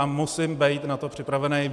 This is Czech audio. A musím být na to připravený.